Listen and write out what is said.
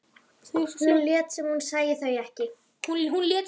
Hún lét sem hún sæi þau ekki.